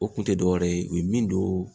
O kun te dɔwɛrɛ ye, u ye min don